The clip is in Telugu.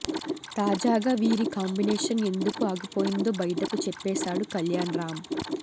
తాజాగా వీరి కాంబినేషన్ ఎందుకు ఆగిపోయిందో బయటకు చెప్పేసాడు కళ్యాణ్ రామ్